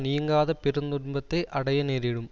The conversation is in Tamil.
நீங்காத பெருந்துன்பத்தை அடைய நேரிடும்